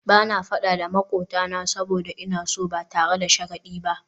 Ba na fada da makwabtana saboda ina so ba tare da sharadi ba